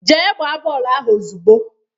Jee gbaa bọọlụ ahụ ozugbo!